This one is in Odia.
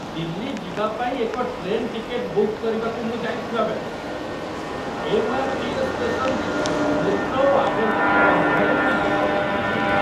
ଦିଲ୍ଲୀ ଯିବା ପାଇଁ ଏକ ଟ୍ରେନ୍ ଟିକେଟ୍‌ ବୁକ୍ କରିବାକୁ ମୁଁ ଯାଇଥିଲାବେଳେ, ଏମ୍.ଆର୍.ଟି.ଏସ୍. ଷ୍ଟେସନରେ ମୂତ୍ର ଓ ଆବର୍ଜନା ଗନ୍ଧରେ ମୋ ନାକ ଫାଟିପଡ଼ିଲା।